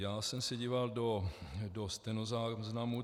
Já jsem se díval do stenozáznamu.